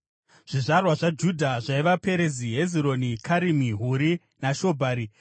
Zvizvarwa zvaJudha zvaiva: Perezi, Hezironi, Karimi, Huri naShobhari.